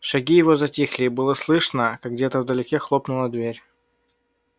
шаги его затихли и было слышно как где-то вдалеке хлопнула дверь